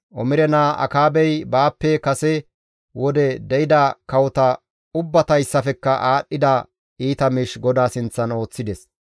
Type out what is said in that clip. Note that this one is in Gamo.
Omire naa Akaabey baappe kase wode de7ida kawota ubbatayssafekka aadhdhida iita miish GODAA sinththan ooththides.